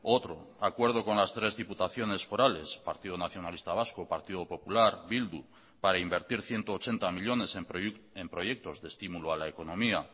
otro acuerdo con las tres diputaciones forales partido nacionalista vasco partido popular bildu para invertir ciento ochenta millónes en proyectos de estímulo a la economía